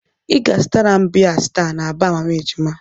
Ị ga-azụtara m biya sta na baa mama ejima.